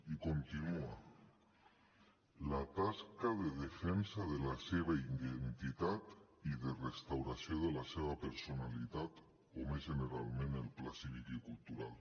i continua la tasca de defensa de la seva identitat i de restauració de la seva personalitat o més generalment en el pla cívic i cultural